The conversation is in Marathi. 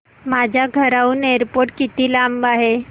माझ्या घराहून एअरपोर्ट किती लांब आहे